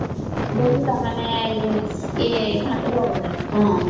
କଉଠି